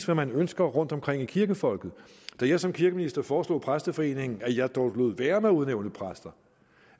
man ønsker rundtomkring hos kirkefolket da jeg som kirkeminister foreslog præsteforeningen at jeg lod være med at udnævne præster